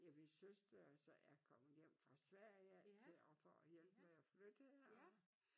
Ja min søster er så er kommet hjem fra Sverige af til at for at hjælpe med at flytte og